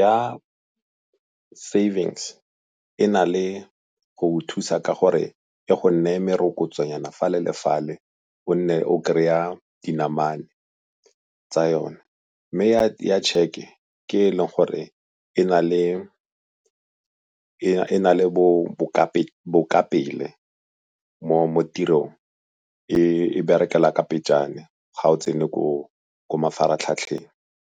ya savings e na le go go thusa ka gore e go neye merokotso nyana fale le fale o nne o kry-a dinamane tsa yone. Mme ya tšheke ke e e leng gore e na le bokapele mo tirong, e berekela ka pejana ga o tsene ko mafaratlhatlheng.